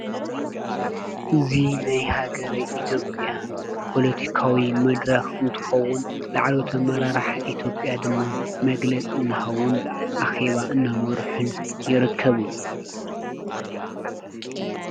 እዙ ናይ ሃገረይ ኢትብያ ጶሎቲካዊ መድረኽ እንትኾውን ላዕሎተ መራራሕ ኢትጵያ ድማ መግለጽ እንሃውን ኣኺባ እነመርሑን ይርከቡ።